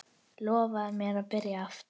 Lofaðu mér að byrja aftur!